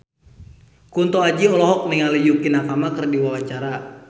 Kunto Aji olohok ningali Yukie Nakama keur diwawancara